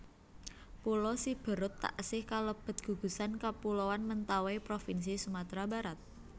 Pulo Siberut taksih kalebet gugusan kapuloan Mentawai propinsi Sumatra Barat